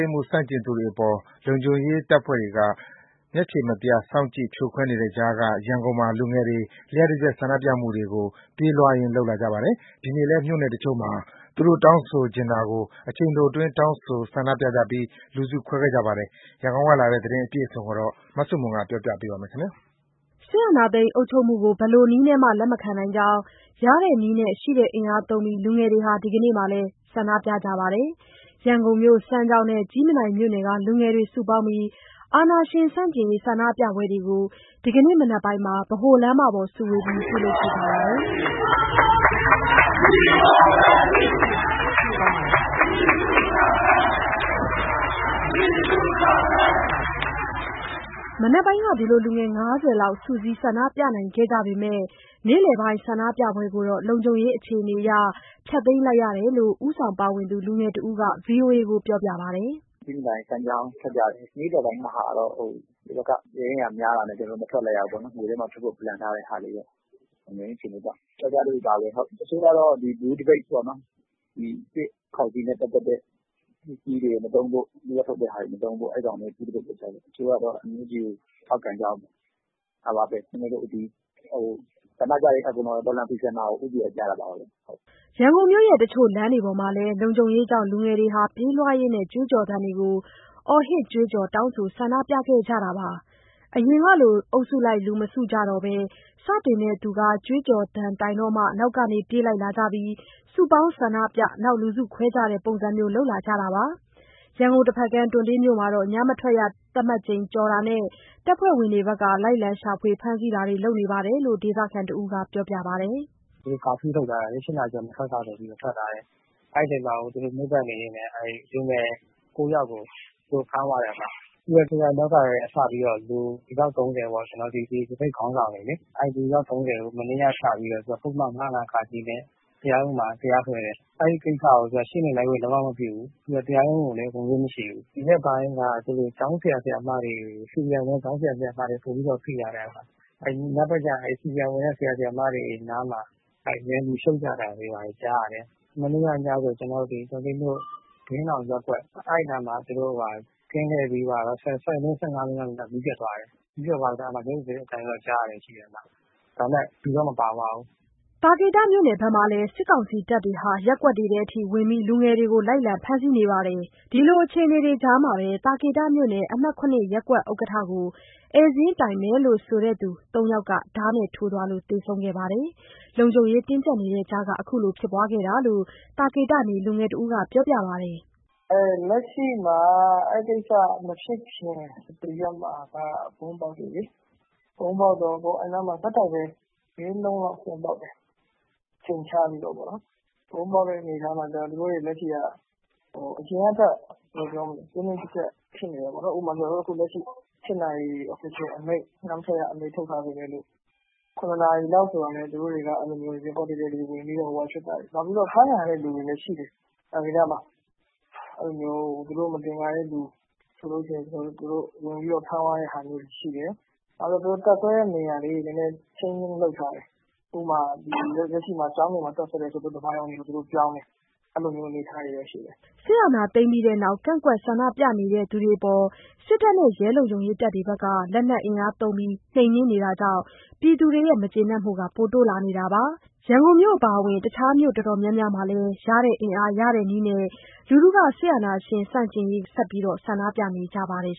ိမ်းမှု ဆန့်ကျင်သူတွေအပေါ် လုံခြုံရေးတွေက မျက်ခြေမပြတ် စောင့်ကြည့် ဖြိုခွဲနေတဲ့ကြားက ရန်ကုန်မြို့မှာ လူငယ်တွေ လ ျှပ်တပြက်ဆန္ဒပြမှုတွေကို ပြေးလွှားရင်း လုပ်လာကြပါတယ်။ ဒီနေ့လည်း မြို့နယ်တချို့မှာ သူတို့တောင်းဆိုချင်တာကို အချိန်တိုတွင်း တောင်းဆိုဆန္ဒပြပြီး လူစုခွဲခဲ့ကြပါတယ်။ ရန်ကုန်ကလာတဲ့ သတင်းအပြည့်အစုံကို မဆုမွန် တင်ဆက်ပေးမှာပါ။ စစ်အာဏာသိမ်း အုပ်ချုပ်မှုကို ဘယ်လိုနည်းနဲ့မှ လက်မခံနိုင်ကြောင်း ရတဲ့နည်းနဲ့ ရှိတဲ့အင်အားသုံးပြီး လူငယ်တွေ ဒီနေ့လည်း ဆန္ဒပြကြပါတယ်။ ရန်ကုန်မြို့ စမ်းချောင်းနဲ့ ကြည့်မြင်တိုင်မြို့နယ်က လူငယ်တွေ စုပေါင်းပြီး အာဏာရှင်ဆန့်ကျင်ရေး ဆန္ဒပြပွဲတွေကို ဒီကနေ့ မနက်ပိုင်းမှာ ဗဟိုလမ်းမပေါ်စုဝေးပြီး ပြုလုပ်ခဲ့ကြပါတယ်။ မနက်ပိုင်းက လူငယ်အင်အား ၅၀ လောက် စုစည်း ဆန္ဒပြနိုင်ခဲ့ကြပေမဲ့ နေ့လယ်ပိုင်း ဆန္ဒပြပွဲကိုတော့ လုံခြုံရေးအခြေအနေကြောင့် ဖျက်သိမ်းလိုက်ရတယ်လို့ ဦးဆောင်ပါဝင်သူ လူငယ်တဦးက ဗွီအိုအေကိုပြောပါတယ်။ “မနက်က ကြည့်မြင်တိုင်၊ စမ်းချောင်း သပိတ်ထွက်ကြတယ်။ နေ့လယ်ပိုင်းမှာတော့ ဟိုဘက်က ရဲအင်အားများတာနဲ့ ကျနော်တို့ မထွက်လိုက်ရဘူးပေါ့... မြို့ထဲမှာ ထွက်ဖို့ စီစဉ်ထားတာ လုံခြုံရေးအခြေအနေကြောင့် မထွက်လိုက်ရဘူး။ အခုလုပ်တာကတော့ ပြောက်ကျားသပိတ်ပါပဲ၊ တချို့ကျတော့ နွေဦးသပိတ်ပေါ့နော်။ ဒီ စစ်ကောင်စီနဲ့ပတ်သက်တဲ့ ပစ္စည်းတွေမသုံးဖို့၊ သူတို့ထုတ်တာတွေ မသုံးဖို့၊ NUG အစိုးရကို ထောက်ခံဖို့ ဒါတွေလုပ်ခဲ့တယ်။ ဆန္ဒပြတာကတော့ တော်လှန်ဖီဆန်တာကို ဦးတည်ပြီးပြတာပါပဲ။” ရန်ကုန်မြို့ တချို့လမ်းတွေပေါ်မှာလည်း လုံခြုံရေးကြောင့် လူငယ်တွေ ပြေးလွှားရင်း ကြွေးကြော်သံတွေကို အော်ဟစ်ကြွေးကြော် တောင်းဆို ဆန္ဒပြခဲ့ကြပါတယ်။ အရင်ကလို အုပ်စုလိုက် လူမစုကြတော့ဘဲ စတင်သူက ကြွေးကြော်သံတိုင်တော့မှာ နောက်ကနေ ပြေးလာကြပြီး စုပေါင်းဆန္ဒပြ လူစုခွဲကြတဲ့ ပုံစံလုပ်လာကြပါတယ်။ ရန်ကုန် တဘက်ကမ်း တွံတေးမြို့နယ်မှာတော့ ညမထွက်ရ သတ်မှတ်ထားချိန်ကျော်တာနဲ့ တပ်ဖွဲ့ဝင်တွေက လိုက်လံရှာဖွေ ဖမ်းဆီးတာတွေ လုပ်နေတယ်လို့ ဒေသခံတဦးက ပြောပါတယ်။ “ည ၈နာရီကျော်ရင် မထွက်ရဆိုပြီးတော့ သူတို့မြို့ပတ်နေချိန်မှာ လူငယ် ၉ ယောက်ကို သူတို့ဖမ်းသွားတယ်။ ပြီးတော့ ဖေဖော်ဝါရီလကတည်းက စပြီးတော့ သပိတ်ခေါင်းဆောင် လူအယောက် ၃၀ ကို မနေ့ကစပြီးတော့ ပုဒ်မ ၅၀၅-က နဲ့ တရားရုံးမှာ တရားစွဲတယ်။ အဲဒီကိစ္စကို ရှေ့နေလိုက်ခွင့် လုံးဝမပြုဘူး။ ပြီးတော့ တရားရုံးကိုလည်း ဝင်ခွင့်မရှိဘူး။ ဒီရက်ပိုင်းထဲမှာ CDM လုပ်ထားတဲ့ ကျောင်းဆရာ၊ ဆရာမတွေကို ပိုပြီးတော့ ဖိလာတယ်။ ညဘက်ကျရင် CDM ဆရာ၊ ဆရာမတွေ အိမ်နားမှာ နယ်မြေရှုပ်သံတွေကြားတယ်။ မနေ့ညကဆို တွံတေးမြို့၊ ဘုရင့်နောင်ရပ်ကွက်နားမှာ ကင်းလှည့်ပြီးသွားတော့ ၁၀ မိနစ် - ၁၅မိနစ်လောက်ကြာတော့ မီးပျက်သွားတယ်။ မီးပျက်သွားပြီး ရုတ်ရုတ်သဲသဲအသံတွေတော့ ကြားတယ်။ ဒါပေမဲ့ လူတော့ မပါသွားဘူး။” သာကေတမြို့နယ်မှာလည်း စစ်ကောင်စီတပ်တွေဟာ ရပ်ကွက်တွေထဲထိ ဝင်ပြီး လူငယ်တွေကို လိုက်လံဖမ်းဆီးမှုတွေ ရှိပါတယ်။ ဒီလိုအခြေအနေကြားမှာပဲ သာကေတမြို့နယ် အမှတ် ၇ ရက်ကွက်ဥက္ကဋ္ဌကို ဧည့်စာရင်းတိုင်မယ်လို့ဆိုသူ ၃ ယောက်က ဓါးနဲ့ထိုးသွားလို့ သေဆုံးခဲ့ပါတယ်။ လုံခြုံရေးတင်းကြပ်တဲ့ကြားက ခုလိုဖြစ်ခဲ့တာလို့ သာကေတနေ လူငယ်တဦးက ပြောပါတယ်။ “လက်ရှိမှာက အဲဒီကိစ္စမဖြစ်ခင် တရက်မှာက ဗုံးပေါက်တယ်လေ။ အချိန်ခြားပြီးတော့ ၄၊ ၅ လုံးလောက်ပေါက်တယ်။ ဗုံးပေါက်ထားတော့ အရင်ကထက် တင်းတင်းကြပ်ကြပ်ဖြစ်နေတယ်ပေါ့နော်။ ဥပမာ အခု ၈ နာရီ ညမထွက်ရအမိန့် ထုတ်ထားပေမဲ့ ၇ နာရီလောက်ဆိုရင် သူတို့တွေက ရပ်ကွက်တွေထဲဝင်တယ်။ နောက်ပြီးတော့ အဖမ်းခံရတဲ့သူတွေလည်း ရှိတယ်။ သာကေတမှာ သူတို့ မသင်္ကာတဲ့သူရှိတယ်ဆို ဝင်ပြီးဖမ်းသွားတာတွေ ရှိတယ်။ နောက် သူတို့တပ်စွဲတဲ့နေရာတွေ ပြောင်းထားတယ်။ သူတို့ကျောင်းတွေမှာ တပ်စွဲနေတာကနေ ဓမ္မာရုံတွေကိုပြောင်းတယ်... အဲဒီလို အနေအထားတွေတော့ ရှိတယ်။” စစ်အာဏာသိမ်းပြီးနောက် ကန့်ကွက်ဆန္ဒပြသူတွေအပေါ် စစ်တပ်က လက်နက်အင်အားနဲ့ နှိမ်နင်းနေတာကြောင့် ပြည်သူတွေရဲ့ မကျေနပ်မှုတွေ ပိုတိုးလာနေပါတယ်။ ရန်ကုန်မြို့အပြင် တခြားမြို့တော်တော်များများမှာလည်း ရတဲ့အင်အား ရတဲ့နည်းနဲ့ ဆက်ပြီးဆန္ဒပြနေကြပါတယ်